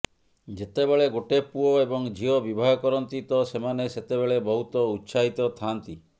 ଯେତେବେଳେ ଗୋଟେ ପୁଅ ଏବଂ ଝିଅ ବିବାହ କରନ୍ତି ତ ସେମାନେ ସେତେବେଳେ ବହୁତ ଉତ୍ସାହିତ ଥାଆନ୍ତି